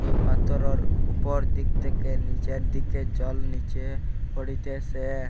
পাথরের ওপর দিক তেকে নীচের দিকে জল নীচে পরিতেসে।